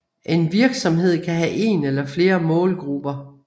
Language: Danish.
En virksomhed kan have en eller flere målgrupper